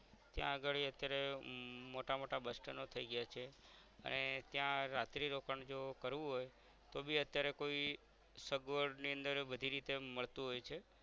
ત્યાં અગાડી અત્યારે હમ મોટા મોટા bus stand ડો થઈ ગયા છે અને ત્યાં રાત્રિ રોકાણ જો કરવું હોય તોબી અત્યારે કોઈ સગવરની અંદર બધી રીતે મળતું હોય છે